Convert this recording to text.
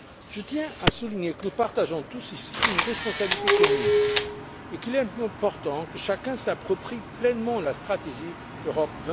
Je tiens à souligner que nous partageons tous ici une responsabilité commune et qu'il est important que chacun s'approprie pleinement la stratégie Europe